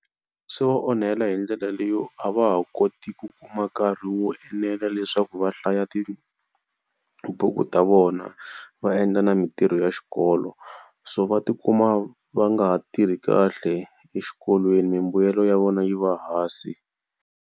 Swi va onhela hi ndlela leyo a va ha koti ku kuma nkarhi wo enela leswaku va hlaya tibuku ta vona va endla na mintirho ya xikolo so va tikuma va nga ha tirhi kahle exikolweni mbuyelo ya vona yi va hansi.